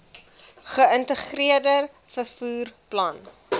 geïntegreerde vervoer plan